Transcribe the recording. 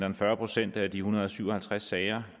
end fyrre procent af de en hundrede og syv og halvtreds sager